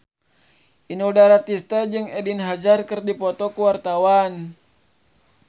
Inul Daratista jeung Eden Hazard keur dipoto ku wartawan